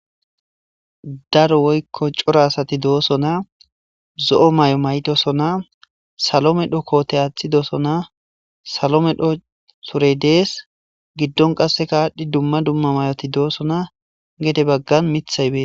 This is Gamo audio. Daro woyko c'ora asati dosona zo'o mayo mayidi dosona salo medho kote athosona salo medho sure gidon adhi dumma dumma mayoti dosona gede bagan mithay betees